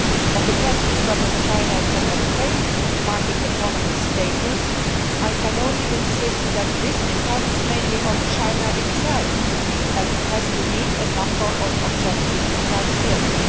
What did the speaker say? On the question of whether China can obtain market economy status, I can only insist that this depends mainly on China itself, as it has to meet a number of objective criteria.